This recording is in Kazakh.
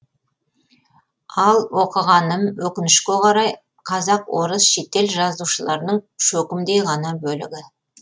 ал оқығаным өкінішке қарай қазақ орыс шетел жазушыларының шөкімдей ғана бөлігі